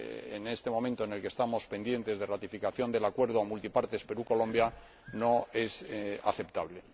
en este momento en el que estamos pendientes de ratificación del Acuerdo Comercial Multipartes Perú Colombia, no es aceptable.